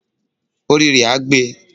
Orí rẹ á gbe.